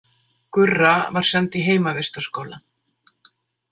Gurra var send í heimavistarskóla.